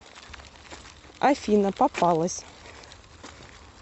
афина попалась